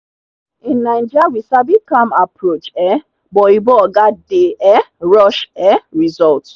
in naija we sabi calm approach um but oyinbo oga dey um rush um results.